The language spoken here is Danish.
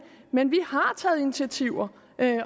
men vi har taget initiativer